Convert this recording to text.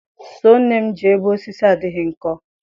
Sọọ nne m ji ebe osisi adịghị nkọ.